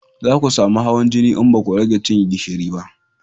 Za ku samu hawan jini in baku rage cin gishiri ba